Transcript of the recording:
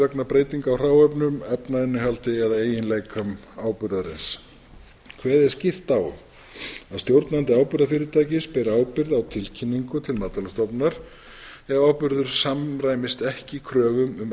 vegna breytinga á hráefnum efnainnihaldi eða eiginleikum áburðarins kveðið er skýrt á um að stjórnandi áburðarfyrirtækis beri ábyrgð á tilkynningu til matvælastofnunar ef áburður samræmist ekki kröfum um